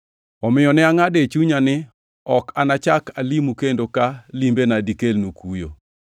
Omiyo ne angʼado e chunya, ni ok anachak alimu kendo ka limbena dikelnu kuyo.